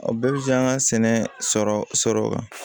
A bɛɛ bɛ se k'an ka sɛnɛ sɔrɔ sɔrɔ